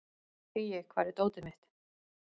Hugi, hvar er dótið mitt?